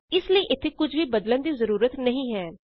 ਇਸ ਲਈ ਇਥੇ ਕੁਝ ਵੀ ਬਦਲਣ ਦੀ ਜਰੂਰਤ ਨਹੀਂ ਹੈ